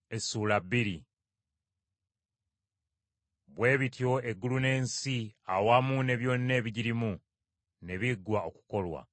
Bwe bityo eggulu n’ensi awamu ne byonna ebigirimu ne biggwa okukolwa.